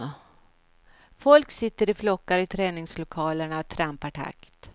Folk sitter i flockar i träningslokalerna och trampar i takt.